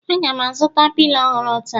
Aga m azụta pilo ọhụrụ taa